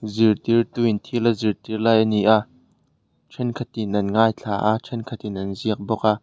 zirtirtu in thil a zirtir lai a ni a thenkhatin an ngaithla a thenkhatin an ziak bawk a.